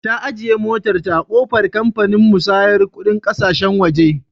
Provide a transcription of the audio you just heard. Ta ajiye motarta a ƙofar kamfanin musayar kuɗin ƙasashen waje.